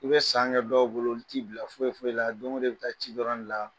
I bɛ san kɛ dɔw bolo i ti bila foyi foyi la don o don i bi taa ci dɔrɔn de la